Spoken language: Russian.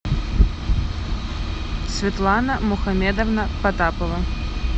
светлана мухамедовна потапова